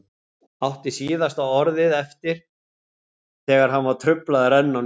Átti síðasta orðið eftir þegar hann var truflaður enn á ný.